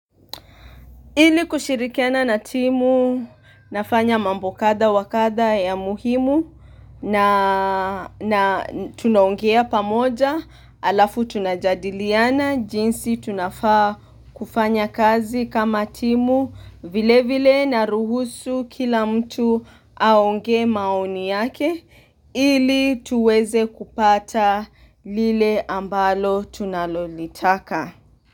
Ili kushirikiana na timu nafanya mambo kadha wakadha ya muhimu na tunaongea pamoja alafu tunajadiliana jinsi tunafaa kufanya kazi kama timu vile vile na ruhusu kila mtu aongee maoni yake ili tuweze kupata lile ambalo tunalolitaka.